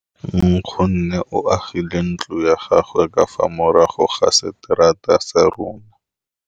Nkgonne o agile ntlo ya gagwe ka fa morago ga seterata sa rona.